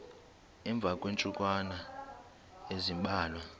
emva kweentsukwana ezimbalwa